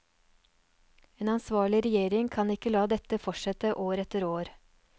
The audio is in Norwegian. En ansvarlig regjering kan ikke la dette fortsette år etter år.